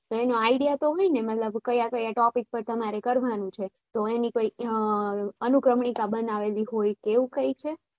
એની idea તો હોય ને કે તમારે કયા topic પાર કરવાનું છે તો એની કોઈ અનુક્રમણિકા બનાવેલી હોય એવું કઈ છે હા રીતનુ જ હોય કે for example ઉદાહરણ તરીકે કહીયે